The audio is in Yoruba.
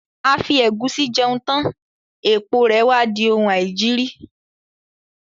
A fi ẹ̀gúsí jẹun tán, èpo rè wá di oun aìjiri.